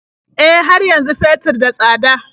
E, har yanzu fetur da tsada.